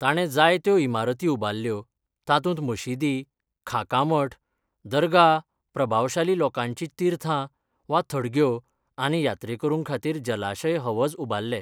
ताणें जायत्यो इमारती उबारल्यो, तातूंत मशिदी, खांका मठ, दरगाह प्रभावशाली लोकांचीं तीर्थां वा थडग्यो आनी यात्रेकरुंखातीर जलाशय हवज उबारले.